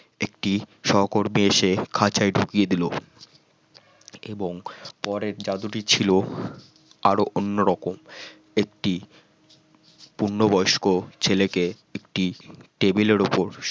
একটি সহকর্মী এসে খাঁচায় ঢুকিয়ে দিল এবং পরে যাদুটি ছিল আরো অন্যরকম একটি পূর্ণবয়স্ক ছেলেকে একটি টেবিলের উপর